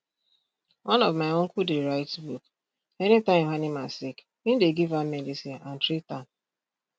one of my uncle dey write book any time im animal sick im dey give am medicine and treat am